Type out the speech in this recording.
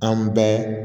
An bɛɛ